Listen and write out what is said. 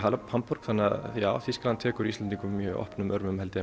Hamborg þannig að já Þýskaland tekur Íslendingum mjög opnum örmum held ég